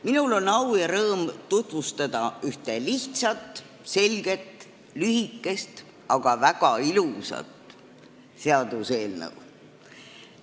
Minul on au ja rõõm tutvustada ühte lihtsat, selget, lühikest, aga ka väga ilusat seaduseelnõu.